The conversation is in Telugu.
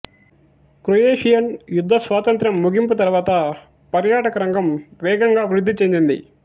క్రొయేషియన్ యుద్ధ స్వాతంత్ర్య ముగింపు తరువాత పర్యాటక రంగం వేగంగా వృద్ధి చెందింది